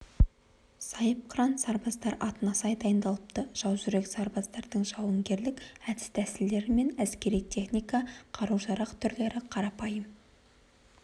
сайыпқыран сарбаздар атына сай дайындалыпты жаужүрек сарбаздардың жауынгерлік әдіс-тәсілдері мен әскери техника қарау-жарақ түрлері қарапайым